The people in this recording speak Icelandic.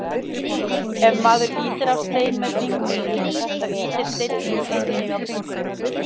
Ef maður ýtir á stein með fingrinum, þá ýtir steinninn einnig á fingurinn.